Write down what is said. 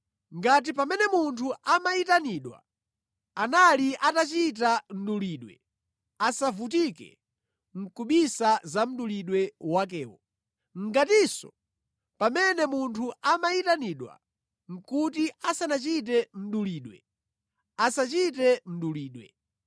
Ngati pamene munthu amayitanidwa anali atachita mdulidwe, asavutike nʼkubisa za mdulidwe wakewo. Ngatinso pamene munthu amayitanidwa nʼkuti asanachite mdulidwe, asachite mdulidwe.